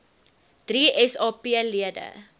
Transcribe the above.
drie sap lede